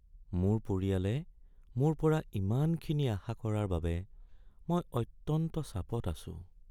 মোৰ পৰিয়ালে মোৰ পৰা ইমানখিনি আশা কৰাৰ বাবে মই অত্যন্ত চাপত আছোঁ।